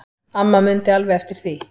Amma mundi alveg eftir því.